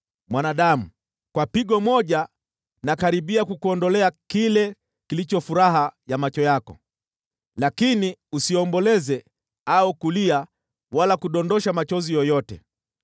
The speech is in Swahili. “Mwanadamu, kwa pigo moja nakaribia kukuondolea kile kilicho furaha ya macho yako. Lakini usiomboleze au kulia wala kudondosha machozi yoyote.